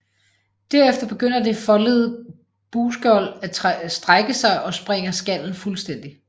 Derefter begynder det foldede bugskjold at strække sig og sprænger skallen fuldstændig